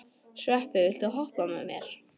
Sveppi, viltu hoppa með mér?